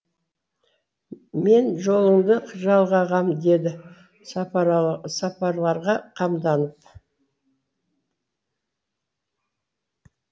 мен жолыңды жалғағам ды сапарларға қамданып